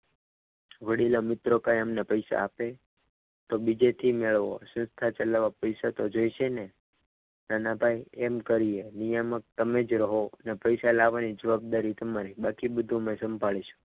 વડીલ મિત્રો કંઈ અમને પૈસા આપે તો બીજેથી મેળવો સંસ્થા ચલાવવા પૈસા તો જોઈશે ને નાના ભાઈ એમ કરીએ નિયામક તમે જ રહો ને પૈસા લાવવાની જવાબદારી તમારી પછી બધું અમે સંભાળી શું.